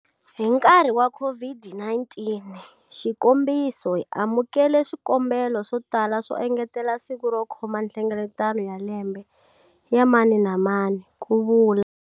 Hi nkarhi wa COVID-19, xikombiso, hi amukele swikombelo swo tala swo engetela siku ro khoma nhlengeletano ya lembe ya mani na mani, ku vula.